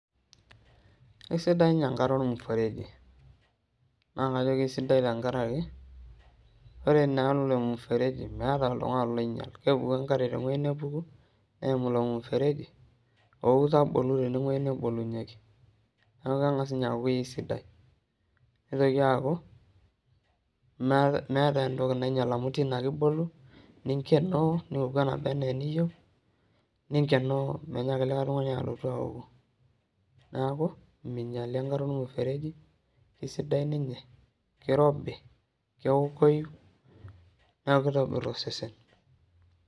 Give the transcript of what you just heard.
Kesidai ninye enkare ormuseregi naa kesidai tenkaraki kore naa elemfereji meeta oltung'ani nainyial kepuku ake enkare tewuei nebo neimu ilo mfereji oo ou tabolu tinewuei nebolunyieki neeku keng'as ninye aaku kesidai.